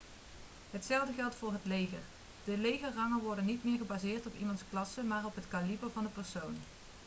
hetzelfde geldt voor het leger de legerrangen worden niet meer gebaseerd op iemands klasse maar op het kaliber van de persoon